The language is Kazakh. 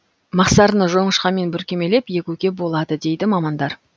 мақсарыны жоңышқамен бүркемелеп егуге болады дейді мамандар